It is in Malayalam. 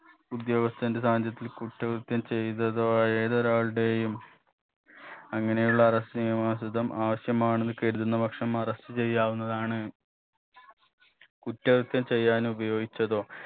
ഉദ്യോഗസ്ഥന്റെ സാന്നിധ്യത്തിൽ കുറ്റകൃത്യം ചെയ്തതോ ആയ ഏതൊരാളുടെയും അങ്ങനെയുള്ള arrest നിയമാനുസൃതം ആവശ്യമാണെന്ന് കരുതുന്ന പക്ഷം arrest ചെയ്യാവുന്നതാണ് കുറ്റകൃത്യം ചെയ്യാനുപയോഗിച്ചതോ